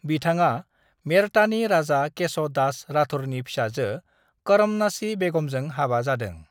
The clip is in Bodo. बिथाङा मेड़तानि राजा केश' दास राठौरनि फिसाजो करमनासी बेगमजों हाबा जादों।